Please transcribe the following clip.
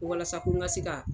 walasa n ka se ka